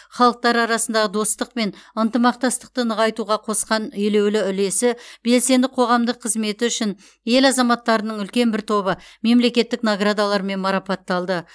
халықтар арасындағы достық пен ынтымақтастықты нығайтуға қосқан елеулі үлесі белсенді қоғамдық қызметі үшін ел азаматтарының үлкен бір тобы мемлекеттік наградалармен марапатталды